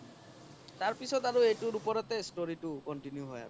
তাৰ পিছত আৰু এইতোৰ ওপৰতে story তো continue হয় আৰু